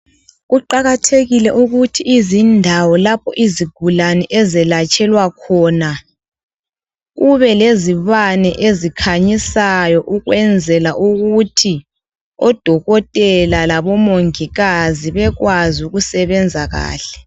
Kuqakathekile ukuthi izindawo lapho izigulane ezelatshelwa khona kube lezibane ezikhanyisayo ukwenzela ukuthi odokotela labo mongikazi bekwazi ukusebenza kahle.